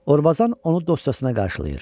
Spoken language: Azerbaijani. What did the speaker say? Orbazan onu dosyasına qarşılayır.